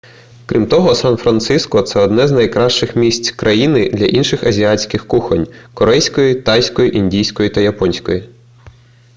крім того сан-франциско це одне з найкращих місць країни для інших азійських кухонь корейської тайської індійської та японської